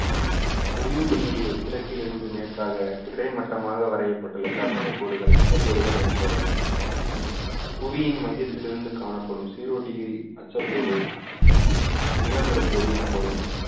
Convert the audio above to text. புவியின் மீது கிழக்கிலிருந்து மேற்காக கிடைமட்டமாக வரையப்பட்டுள்ள கற்பனை கோடுகள் அச்சக்கோடுகள் எனப்படும் புவியின் மையத்திலிருந்து காணப்படும் ஜீரோ டிகிரி அச்சக்கோடு நிலநடுக்கோடு எனப்படும்